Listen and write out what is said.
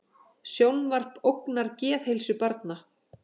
Sjónvarp ógnar geðheilsu barna